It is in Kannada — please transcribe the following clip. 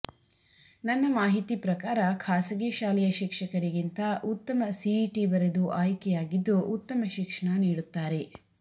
ನನ್ನ ಮಾಹಿತಿ ಪ್ರಕಾರ ಖಾಸಗಿ ಶಾಲೆಯ ಶಿಕ್ಷಕರಿಗಿಂತ ಉತ್ತಮ ಸಿಇಟಿ ಬರೆದು ಆಯ್ಕೆ ಆಗಿದ್ದು ಉತ್ತಮ ಶಿಕ್ಷಣ ನೀಡುತ್ತಾರೆ